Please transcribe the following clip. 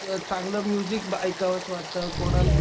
चांगल म्युझिक ऐकावस वाटत कोणाला